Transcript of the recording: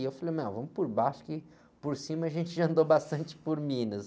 Eu falei, vamos por baixo que por cima a gente já andou bastante por Minas.